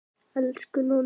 Elsku Nonni.